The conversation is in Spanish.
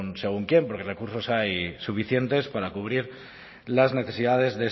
según quién porque recursos hay suficientes para cubrir las necesidades